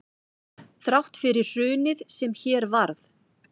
Þrátt fyrir hrunið sem hér varð